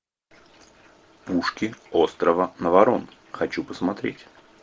пушки острова наварон хочу посмотреть